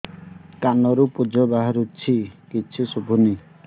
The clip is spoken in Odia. କାନରୁ ପୂଜ ବାହାରୁଛି କିଛି ଶୁଭୁନି